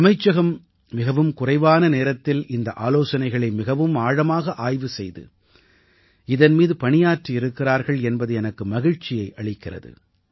அமைச்சகம் மிகவும் குறைவான நேரத்தில் இந்த ஆலோசனைகளை மிகவும் ஆழமாக ஆய்வு செய்து இதன் மீது பணியாற்றி இருக்கிறார்கள் என்பது எனக்கு மகிழ்ச்சியை அளிக்கிறது